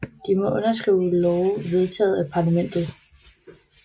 De må underskrive love vedtaget af parlamentet